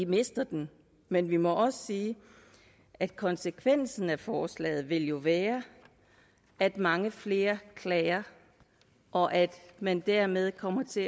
mister den men vi må også sige at konsekvensen af forslaget jo vil være at mange flere klager og at man derved kommer til